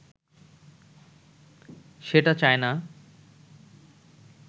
সেটা চায়না